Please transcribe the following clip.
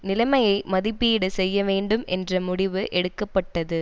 நிலைமையை மதிப்பீடு செய்யவேண்டும் என்ற முடிவு எடுக்க பட்டது